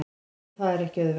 Og það er ekki auðvelt.